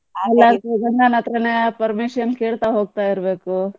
ಎಲ್ಲದಕ್ಕು ಗಂಡನತ್ರನೇ permission ಕೇಳ್ತಾ ಹೋಗ್ತಾ ಇರ್ಬೇಕು.